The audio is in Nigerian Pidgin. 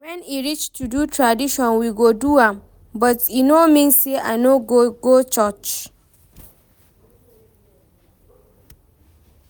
When e reach to do tradition we go do am, but e no mean say I no go go church